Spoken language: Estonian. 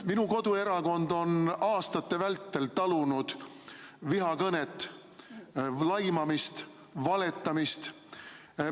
Minu koduerakond on aastate vältel talunud vihakõnet, laimamist, valetamist.